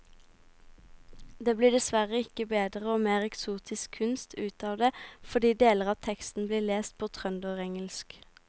Det blir dessverre ikke bedre og mer eksotisk kunst ut av det fordi deler av teksten blir lest på trønderengelsk.